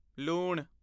ਲੂਣ